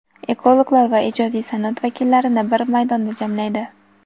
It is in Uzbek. ekologlar va ijodiy sanoat vakillarini bir maydonda jamlaydi.